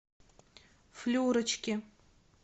флюрочки